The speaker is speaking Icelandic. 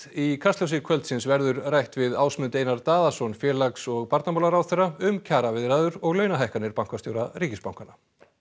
í Kastljósi kvöldsins verður rætt við Ásmund Einar Daðason félags og barnamálaráðherra um kjaraviðræður og launahækkanir bankastjóra ríkisbankanna